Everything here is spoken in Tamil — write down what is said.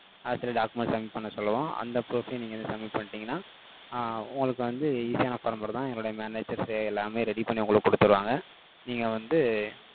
office ல, document submit பண்ண சொல்லுவோம். அந்த proof ஐயும், நீங்க வந்து, submit பண்ணிட்டீங்கன்னா, ஆஹ் உங்களுக்கு வந்து, easy ஆன, former தான். என்னுடைய managers, எல்லாமே, ready பண்ணி, உங்களுக்கு குடுத்திடுவாங்க. நீங்க வந்து,